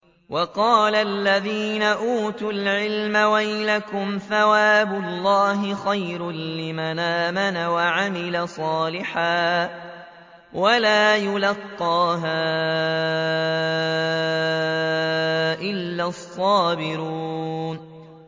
وَقَالَ الَّذِينَ أُوتُوا الْعِلْمَ وَيْلَكُمْ ثَوَابُ اللَّهِ خَيْرٌ لِّمَنْ آمَنَ وَعَمِلَ صَالِحًا وَلَا يُلَقَّاهَا إِلَّا الصَّابِرُونَ